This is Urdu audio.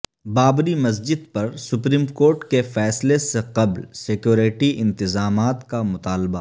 بابری مسجد پر سپریم کورٹ کے فیصلہ سے قبل سیکوریٹی انتظامات کا مطالبہ